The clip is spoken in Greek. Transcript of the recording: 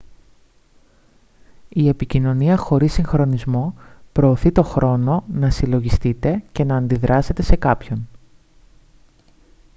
η επικοινωνία χωρίς συγχρονισμό προωθεί το χρόνο να συλλογιστείτε και να αντιδράσετε σε κάποιον